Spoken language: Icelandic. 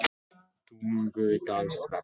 Tungudalsvelli